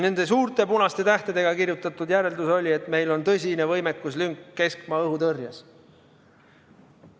Nende suurte punaste tähtedega kirjutatud järeldus oli, et meil on tõsine võimekuslünk keskmaa-õhutõrjes.